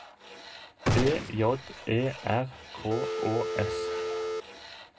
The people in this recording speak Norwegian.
B J E R K Å S